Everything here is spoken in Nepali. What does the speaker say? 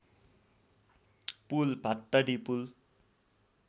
पुल भात्तडी पुल